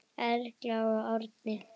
Erla og Árni.